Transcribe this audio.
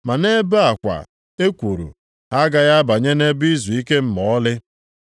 Ma nʼebe a kwa, e kwuru, “Ha agaghị abanye nʼebe izuike m ma ọlị.” + 4:5 \+xt Abụ 95:11\+xt*